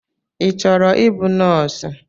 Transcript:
I chọrọ ịbụ nọọsụ?